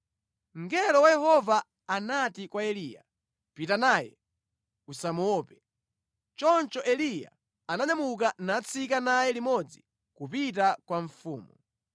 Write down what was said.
Mngelo wa Yehova anati kwa Eliya, “Pita naye, usamuope.” Choncho Eliya ananyamuka natsika naye limodzi kupita kwa mfumu.